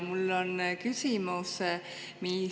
Mul on küsimus.